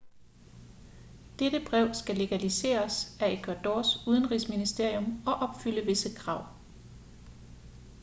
dette brev skal legaliseres af ecuadors udenrigsministerium og opfylde visse krav